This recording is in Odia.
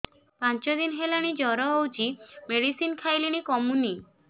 ପାଞ୍ଚ ଦିନ ହେଲାଣି ଜର ହଉଚି ମେଡିସିନ ଖାଇଲିଣି କମୁନି